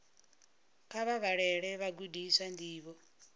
kha vha vhalele vhagudiswa ndivho